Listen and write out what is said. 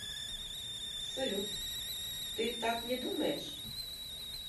салют ты так не думаешь